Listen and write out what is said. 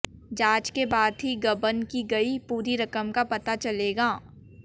जांच के बाद ही गबन की गई पूरी रकम का पता चलेगा